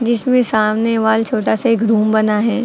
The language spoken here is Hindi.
जिसमें सामने वाल छोटा सा एक रूम बना है।